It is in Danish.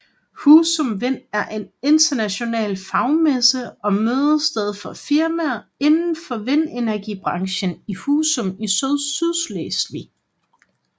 HUSUM Wind er en international fagmesse og mødested for firmaer inden for vindenergibranchen i Husum i Sydslesvig